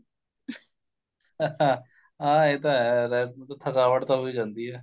ਹਾਂ ਇਹ ਤਾਂ ਹੈ ਥਕਾਵਟ ਤਾਂ ਹੋਈ ਜਾਂਦੀ ਏ